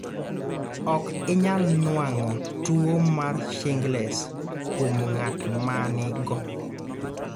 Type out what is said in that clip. ok inyal nuang'o tuwo mar shingles kuom ng'at ma nigo